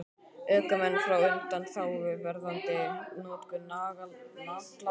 Ökumenn fá undanþágu varðandi notkun nagladekkja